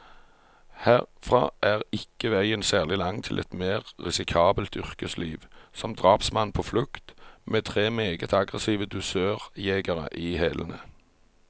Herfra er ikke veien særlig lang til et mer risikabelt yrkesliv, som drapsmann på flukt, med tre meget aggressive dusørjegere i hælene.